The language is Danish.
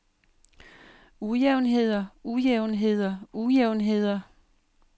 ujævnheder ujævnheder ujævnheder